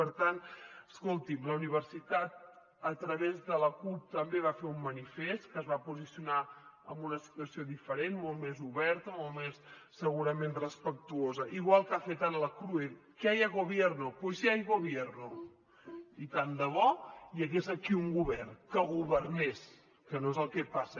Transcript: per tant escolti’m la universitat a través de l’acup també va fer un manifest que es va posicionar amb una situació diferent molt més oberta molt més segurament respectuosa igual que ha fet ara la crue que haya gobierno pues ya hay gobierno i tant de bo hi hagués aquí un govern que governés que no és el que passa